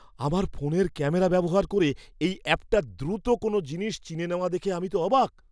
আমার ফোনের ক্যামেরা ব্যবহার করে এই অ্যাপটার দ্রুত কোনও জিনিস চিনে নেওয়া দেখে আমি তো অবাক!